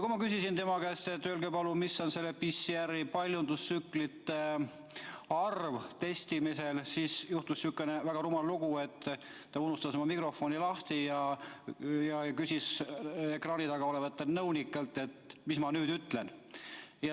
Kui ma küsisin tema käest, et öelge palun, mis on selle PCR testi paljundustsüklite arv testimisel, siis juhtus sihuke väga rumal lugu, et ta unustas oma mikrofoni lahti ja küsis ekraani taga olevatelt nõunikelt, mida ma nüüd ütlen.